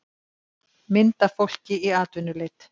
Mynd af fólki í atvinnuleit.